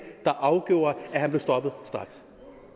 at han blev stoppet straks